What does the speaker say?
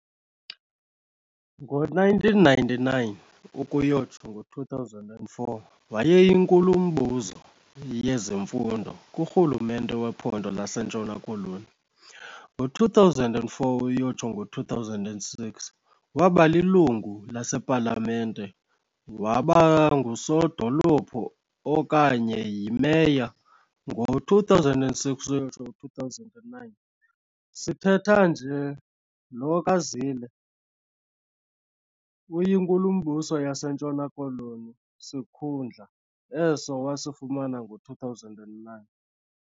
Ngo-1999-2004 wayeyinkulumbuzo yezemfundo kurhulumente wePhondo laseNtshona Koloni, ngo2004 - 2006 wabalilungu lasePalamente wabangusodolophu okanye yi-Meya, ngo-2006-2009.sithetha nje lo kaZille uyiNkulumbuso yaseNtshona-Koloni, sikhundla eso wasifumana ngo-2009.